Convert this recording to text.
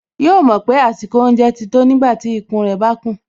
Yóò mọ̀ pé àsìkò oúnjẹ ti tó nígbàtí ikùn rẹ̀ bá kùn